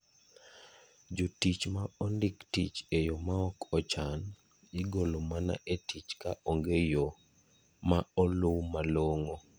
Jotich ma ondik tich e yo maok ochan, igolo mana e tich ka onge yo maolw malongo.